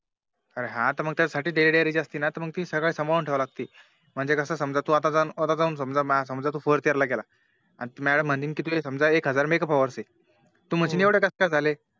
अरे हा ना मग त्याच्या साठी Daily diary असते ना ती सांभाळून ठेवावी लागते म्हणजे कस तू आता जाऊन आता जाऊन समझा समझा तू Fourth year ला गेला आणि Madam म्हणीन कि तुझे एक हजार Make up hour आहे तू म्हणशिण एवढे कास काय झाले